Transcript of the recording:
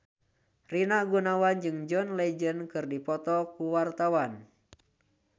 Rina Gunawan jeung John Legend keur dipoto ku wartawan